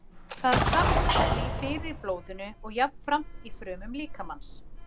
Það safnast því fyrir í blóðinu og jafnframt í frumum líkamans.